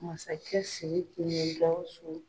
Masakɛ Siriki ni Gawusu